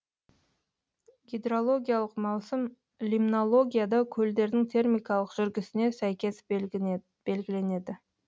гидрологиялық маусым лимнологияда көлдердің термикалық жүргісіне сәйкес белгіленеді